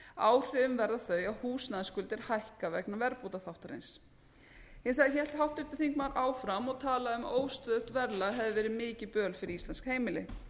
áhrifin verða þau að húsnæðisskuldir hækka vegna verðbótaþáttarins hins vegar hélt háttvirtur þingmaður áfram og talaði um að óstöðugt verðlag hefði verið mikið böl fyrir íslensk heimili